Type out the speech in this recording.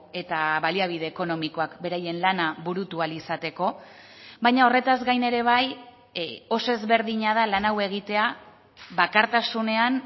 eta baliabide ekonomikoak beraien lana burutu ahal izateko baina horretaz gain ere bai oso ezberdina da lan hau egitea bakartasunean